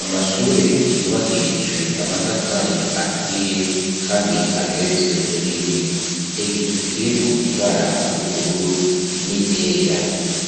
Amashure yubakishijwe amatafari aturiye kandi ageretswe rimwe. Igicu kirimwo ibara ry'ubururu n'iryera.